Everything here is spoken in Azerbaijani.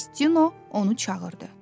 Mastino onu çağırdı.